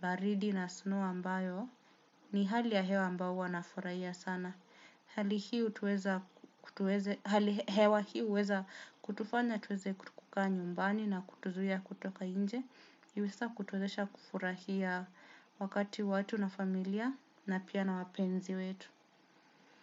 baridi na snow ambayo ni hali ya hewa ambayo huwa nafurahia sana. Hali hewa hii huweza kutufanya tuweze kutukukaa nyumbani na kutuzuia kutoka inje. Yuhisa kutuzesha kufurahia wakati watu na familia na pia na wapenzi wetu.